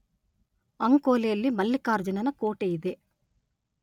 ಅಂಕೋಲೆಯಲ್ಲಿ ಮಲ್ಲಿಕಾರ್ಜುನನ ಕೋಟೆಯಿದೆ